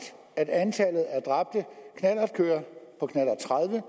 at antallet af dræbte knallertkørere på knallert tredive